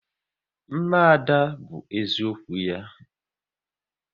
Mma Ada bụ eziokwu ya